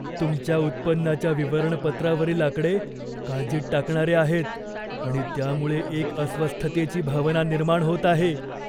तुमच्या उत्पन्नाच्या विवरणपत्रावरील आकडे काळजीत टाकणारे आहेत आणि त्यामुळे एक अस्वस्थतेची भावना निर्माण होत आहे.